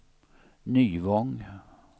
Nyvång